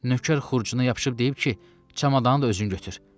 Nökər Xurcunana yapışıb deyib ki, çamadanı da özün götür.